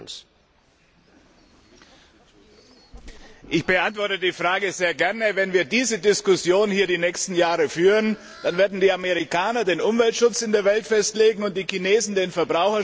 Ich beantworte die Frage sehr gern Wenn wir diese Diskussion hier die nächsten Jahre hindurch führen, dann werden die Amerikaner den Umweltschutz in der Welt festlegen, die Chinesen den Verbraucherschutz, und die europäischen Menschen werden von niemandem geschützt werden.